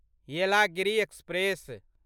Yelagiri express